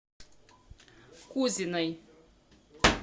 кузиной